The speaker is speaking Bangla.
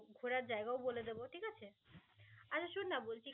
ঘোরার জায়গাও বলে দেব. ঠিক আছে? আরে শোন না বলছি